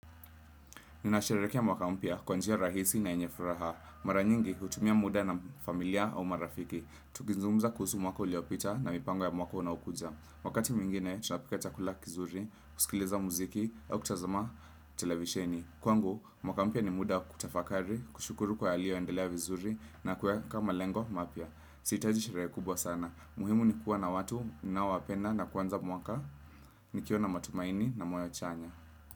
Ninasherehekea mwaka mpya kwa njia rahisi na yenye furaha. Mara nyingi hutumia muda na familia au marafiki. Tukizungumza kuhusu mwaka uliopita na mipango ya mwaka unaokuja. Wakati mwingine tunapika chakula kizuri, kusikiliza mziki au kutazama televisheni. Kwangu, mwaka mpya ni muda wa kutafakari, kushukuru kwa yaliyoendelea vizuri na kuweka malengo mapya. Sihitaji sherehe kubwa sana. Muhimu ni kuwa na watu mnaowapenda na kuanza mwaka nikiwa na matumaini na moyo chanya.